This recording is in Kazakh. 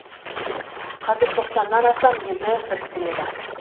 қазір тоқсаннан астам елді біріктіреді